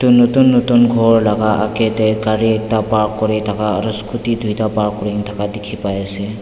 itu nutun nutun ghor laga aage teh gari ekta park kuri thaka aro scooty duita park kuri thaka dikhi pai ase.